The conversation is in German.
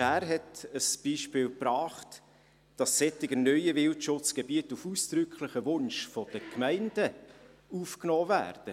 Schär hat ein Beispiel gebracht – dass solche neuen Wildschutzgebiete auf ausdrücklichen Wunsch der Gemeinden aufgenommen werden.